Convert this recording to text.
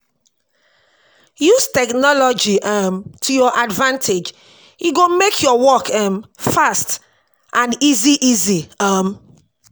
Use technology um to your advantage, e go make your work um fast and easy easy um